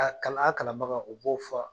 Ka na a kalanbagaw o b'o fɔ